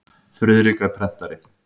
Friðrik er prentari.